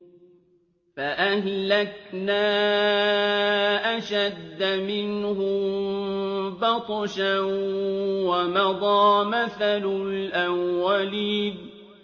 فَأَهْلَكْنَا أَشَدَّ مِنْهُم بَطْشًا وَمَضَىٰ مَثَلُ الْأَوَّلِينَ